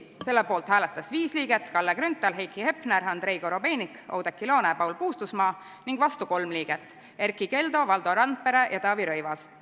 Selle poolt hääletas viis liiget: Kalle Grünthal, Heiki Hepner, Andrei Korobeinik, Oudekki Loone ja Paul Puustusmaa ning vastu kolm liiget: Erkki Keldo, Valdo Randpere ja Taavi Rõivas.